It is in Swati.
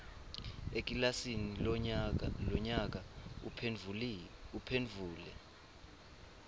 ekilasini lonyaka uphendvule